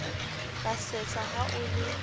ka sesa ha o le